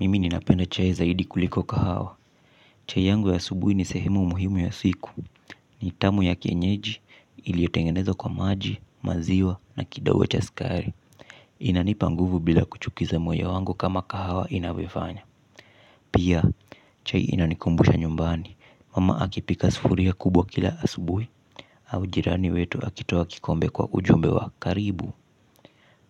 Mimi ninapenda chai zaidi kuliko kahawa. Chai yangu ya asubuhi ni sehemu muhimu ya siku. Ni tamu ya kienyeji iliotengenezo kwa maji maziwa na kidogo cha skari. Inanipa nguvu bila kuchukiza moyo wangu kama kahawa inaviofanya. Pia chai inanikumbusha nyumbani mama akipika sufuria kubwa kila asubuhi. Au jirani wetu akitoa kikombe kwa ujumbe wa karibu.